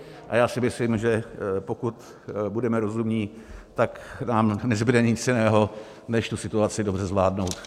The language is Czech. A já si myslím, že pokud budeme rozumní, tak nám nezbude nic jiného než tu situaci dobře zvládnout.